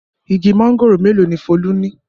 Igi mángòrò mélòó ni Folú ní?